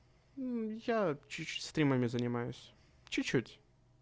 я чуть-чуть стримами занимаюсь чуть-чуть